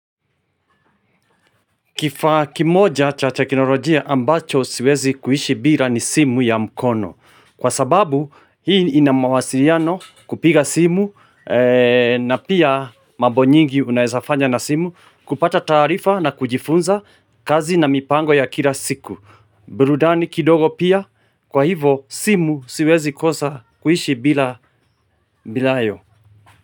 Kifaa kimoja cha teknolojia ambacho siwezi kuishi bila ni simu ya mkono. Kwa sababu hii inamawasiliano kupiga simu na pia mambo nyingi unaezafanya na simu kupata taarifa na kujifunza kazi na mipango ya kila siku. Burudani kidogo pia kwa hivyo simu siwezi kosa kuishi bila bilayo.